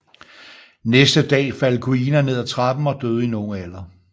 Næste dag faldt Kuina ned af trappen og døde i en ung alder